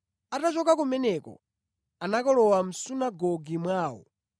Atachoka kumeneko anakalowa mʼsunagoge mwawo.